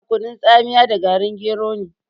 Ana kunun tsamiya da garin gero ne.